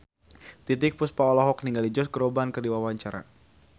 Titiek Puspa olohok ningali Josh Groban keur diwawancara